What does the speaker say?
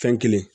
Fɛn kelen